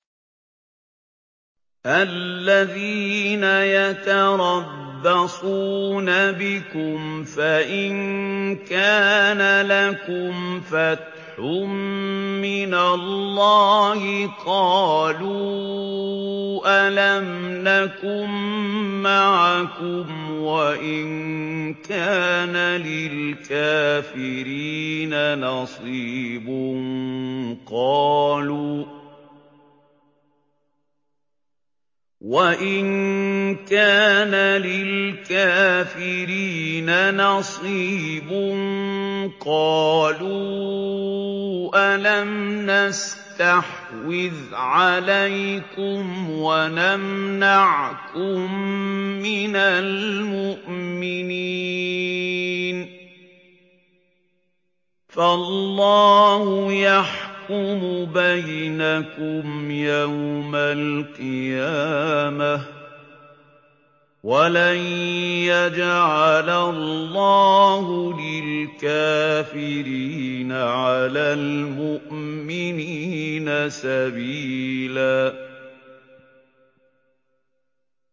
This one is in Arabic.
الَّذِينَ يَتَرَبَّصُونَ بِكُمْ فَإِن كَانَ لَكُمْ فَتْحٌ مِّنَ اللَّهِ قَالُوا أَلَمْ نَكُن مَّعَكُمْ وَإِن كَانَ لِلْكَافِرِينَ نَصِيبٌ قَالُوا أَلَمْ نَسْتَحْوِذْ عَلَيْكُمْ وَنَمْنَعْكُم مِّنَ الْمُؤْمِنِينَ ۚ فَاللَّهُ يَحْكُمُ بَيْنَكُمْ يَوْمَ الْقِيَامَةِ ۗ وَلَن يَجْعَلَ اللَّهُ لِلْكَافِرِينَ عَلَى الْمُؤْمِنِينَ سَبِيلًا